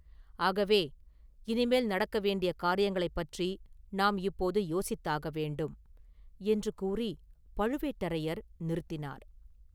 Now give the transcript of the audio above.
ஆகவே, இனிமேல் நடக்க வேண்டிய காரியங்களைப்பற்றி நாம் இப்போது யோசித்தாக வேண்டும்!” என்று கூறிப் பழுவேட்டரையர் நிறுத்தினார்.